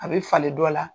A bɛ falen dɔ la